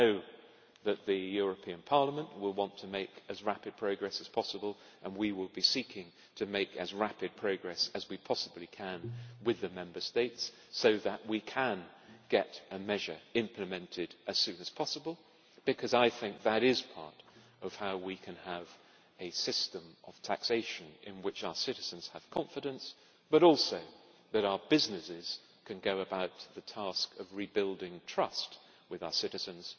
I know that Parliament will want to make progress as rapidly as possible, and we will be seeking to make progress as rapidly as we possibly can with the Member States, so that we can get a measure implemented as soon as possible, because I think that is part of how we can have a system of taxation in which our citizens have confidence, but also so that our businesses can go about the task of rebuilding trust with our citizens.